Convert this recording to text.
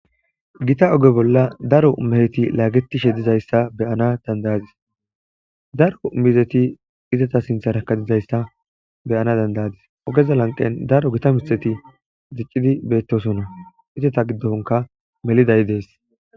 Gita oge bolla daro meheti laagetishe dizayssa beyana dandayadis daro mizeti izata sintha rakadizayssa beyana dandayadis ogeza lanqen daro gita mitheti ziccidi beettosona izata giddonka melidayi dees.